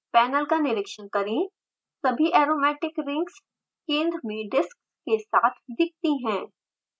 panel का निरिक्षण करें सभी aromatic rings केंद्र में डिस्क्स के साथ दिखती हैं